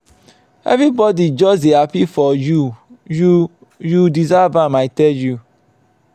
everybody just dey happy for you. you. you deserve am i tell you.